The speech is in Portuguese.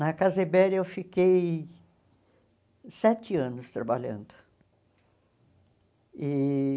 Na Casa Ibéria eu fiquei sete anos trabalhando e.